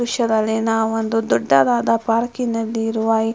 ದೃಶ್ಯದಲ್ಲಿ ನಾವು ಒಂದು ದೊಡ್ಡದಾದ ಪಾರ್ಕಿನಲ್ಲಿರುವ --